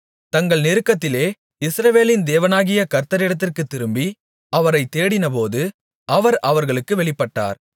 தங்கள் நெருக்கத்திலே இஸ்ரவேலின் தேவனாகிய கர்த்தரிடத்திற்குத் திரும்பி அவரைத் தேடினபோது அவர் அவர்களுக்கு வெளிப்பட்டார்